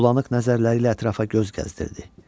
Bulanıq nəzərlərilə ətrafa göz gəzdirdi.